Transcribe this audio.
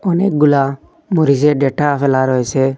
অনেকগুলা মরিচের ডাটা ফেলা রয়েসে।